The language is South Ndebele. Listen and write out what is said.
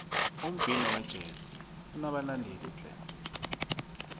umbhino wejezi unobalandeli tle